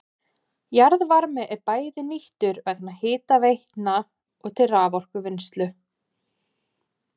Jarðvarmi er bæði nýttur vegna hitaveitna og til raforkuvinnslu.